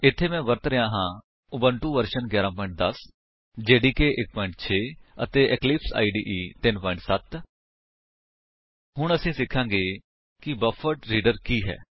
ਇੱਥੇ ਮੈਂ ਵਰਤੋ ਕਰ ਰਿਹਾ ਹਾਂ ਉਬੰਟੁ ਵਰਜਨ 11 10 ਜੇਡੀਕੇ 1 6 ਅਤੇ ਇਕਲਿਪਸ ਇਦੇ 3 7 0 ਹੁਣ ਅਸੀ ਸਿਖਾਂਗੇ ਕਿ ਬਫਰਡਰੀਡਰ ਕੀ ਹੈ